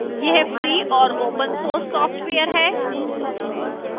यह free और open source software है